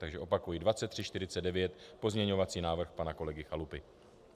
Takže opakuji, 2349, pozměňovací návrh pana kolegy Chalupy.